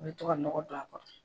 I bɛ to ka nɔgɔ don a kɔrɔ.